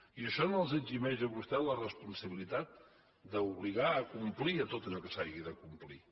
i això no els eximeix a vostès de la responsabilitat d’obligar a complir tot allò que s’hagi de complir